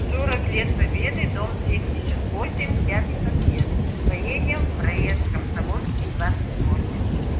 сорок лет победы дом семьдесят восемь пятый подъезд поедем проезд комсомольский двадцать восемь